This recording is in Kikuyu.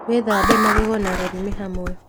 Wīthambe magego na rūrīmī hamwe.